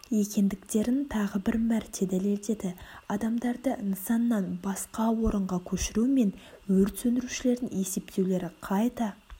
екіндіктерін тағы бір мәрте дәлелдеді адамдарды нысаннан басқа орынға көшіру мен өрт сөндірушілердің есптеулері қайта